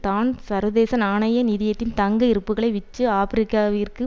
தான் சர்வதேச நாணய நிதியத்தின் தங்க இருப்புக்களை விற்று ஆபிரிக்காவிற்கு